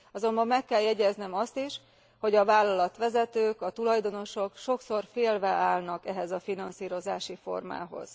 Azonban meg kell jegyeznem azt is, hogy a vállalatvezetők, a tulajdonosok sokszor félve állnak ehhez a finanszírozási formához.